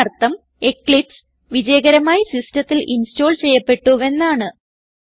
ഇതിനർത്ഥം എക്ലിപ്സ് വിജയകരമായി സിസ്റ്റത്തിൽ ഇൻസ്റ്റോൾ ചെയ്യപ്പെട്ടുവെന്നാണ്